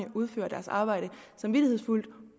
udfører deres arbejde samvittighedsfuldt